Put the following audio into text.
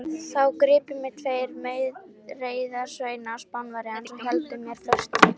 Þá gripu mig tveir meðreiðarsveinar Spánverjans og héldu mér föstum.